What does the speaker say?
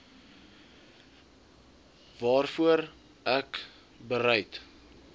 waarvoor ek bereid